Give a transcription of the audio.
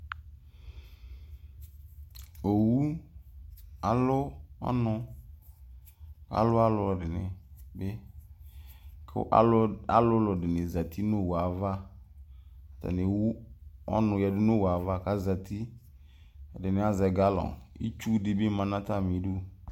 Owʋ alʋ ɔnʋ alʋ alʋɛdini bi kʋ alʋlʋ ɛdini zati nʋ owʋe ava atani ewʋ ɔnʋ yadʋ nʋ owʋe ava kʋ azati ɛdini azɛ galɔn kʋ itsu dibi manʋ atami idʋ